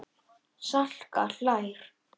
Salka hlær.